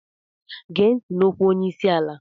Gee ntị n'okwu onye isi ala!